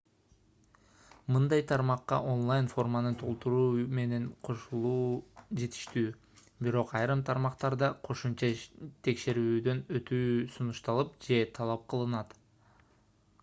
мындай тармакка онлайн форманы толтуруу менен кошулуу жетиштүү бирок айрым тармактарда кошумча текшерүүдөн өтүү сунушталып же талап кылынат